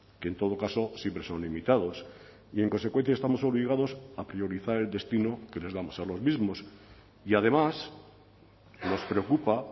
que en todo caso siempre son limitados y en consecuencia estamos obligados a priorizar el destino que les damos a los mismos y además nos preocupa